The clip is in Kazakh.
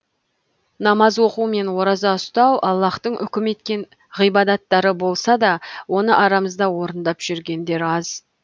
намаз оқу мен ораза ұстау аллаһтың үкім еткен ғибадаттары болса да оны арамызда орындап жүргендер аз